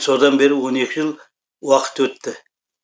содан бері он екі жыл уақыт өтті